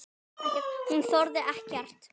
Hún þolir ekkert.